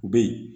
U bɛ yen